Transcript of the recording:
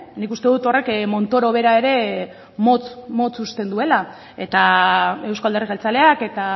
nik uste dut horrek montoro bera ere motz motz uzten duela eta euzko alderdi jeltzaleak eta